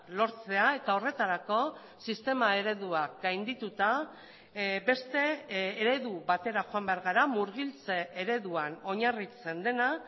lortzea eta horretarako sistema ereduak gaindituta beste eredu batera joan behar gara murgiltze ereduan oinarritzen dena